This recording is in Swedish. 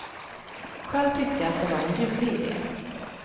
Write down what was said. Själv tyckte jag att det var en ljuvlig idé.